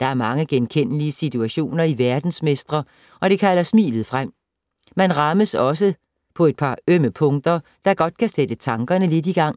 Der er mange genkendelige situationer i Verdensmestre og det kalder smilet frem. Men man rammes også på en par ømme punkter, der kan sætte tankerne lidt i gang.